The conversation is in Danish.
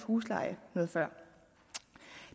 husleje noget før